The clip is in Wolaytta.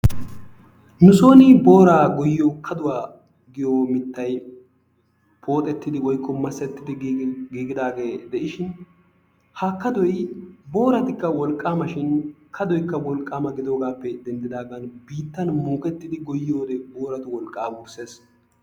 nu soon booraa goyyiyo kadduwa giyo mittay pooxettidi woykko masettidi giigidaage de'ishin ha kadoy booratikka wolqqaama shin kadoykka wolqqama gidoogappe denddidaagan biittan muukettidi goyyiyoode booratu wolqqaa wurssees.